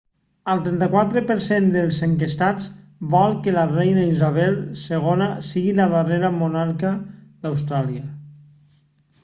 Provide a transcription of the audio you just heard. el 34 % dels enquestats vol que la reina isabel ii sigui la darrera monarca d'austràlia